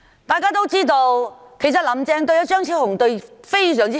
大家也知道，"林鄭"對張超雄議員非常好。